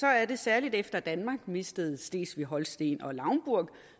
er det særlig efter at danmark mistede slesvig holsten og lauenburg